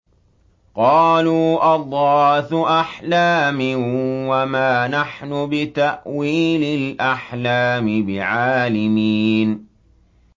قَالُوا أَضْغَاثُ أَحْلَامٍ ۖ وَمَا نَحْنُ بِتَأْوِيلِ الْأَحْلَامِ بِعَالِمِينَ